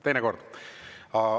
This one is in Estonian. Teine kord!